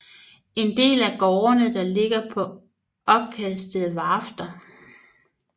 En del af gårdene der ligger på opkastede varfter